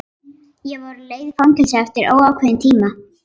Ég var á leið í fangelsi eftir óákveðinn tíma.